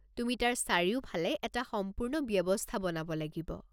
তুমি তাৰ চাৰিওফালে এটা সম্পূৰ্ণ ব্যৱস্থা বনাব লাগিব।